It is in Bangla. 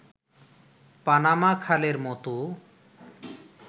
পানামা খালের মতো